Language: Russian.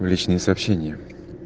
в личные сообщения